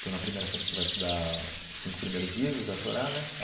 Então na primeira série você vai estudar os cinco primeiros livros da Torá, né?